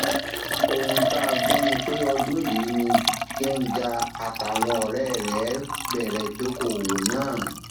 ohun tá a gbọ ni pé ọdún yìí ni genga àtàwọn ọrẹ rẹ bẹrẹ ìdókoòwò náà